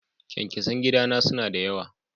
Kyankyasan gida na suna da yawa.